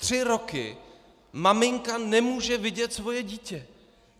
Tři roky maminka nemůže vidět svoje dítě.